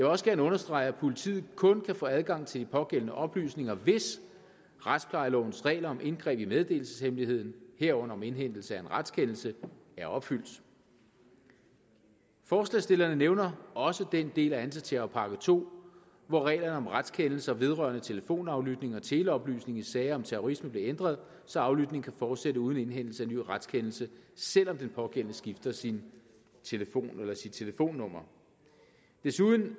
også gerne understrege at politiet kun kan få adgang til de pågældende oplysninger hvis retsplejelovens regler om indgreb i meddelelseshemmeligheden herunder om indhentelse af en retskendelse er opfyldt forslagsstillerne nævner også den del af antiterrorpakke to hvor reglerne om retskendelser vedrørende telefonaflytning og teleoplysninger i sager om terrorisme blev ændret så aflytning kan fortsætte uden indhentelse af ny retskendelse selv om den pågældende skifter sin telefon eller sit telefonnummer desuden